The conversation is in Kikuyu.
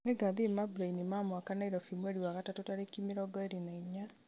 nĩngathiĩ mambura-ini ma awak nairobi mweri wa gatatũ tarĩki mĩrongo ĩĩrĩ na inya